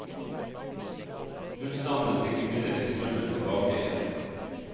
Husstandene fikk imidlertid strømmen tilbake igjen.